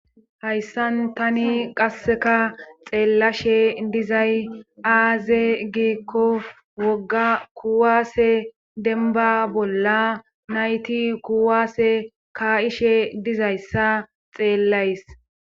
hayssan tani qasseka xeellashe dizay aaze geekko wogga kuwaase denba bolla nayti kuwaase ka7ishe dizayssa xeellays